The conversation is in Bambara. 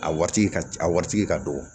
A waati ka a waritigi ka dɔgɔ